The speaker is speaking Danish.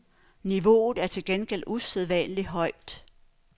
Niveauet er til gengæld usædvanlig højt.